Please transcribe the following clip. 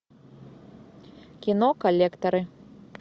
кино коллекторы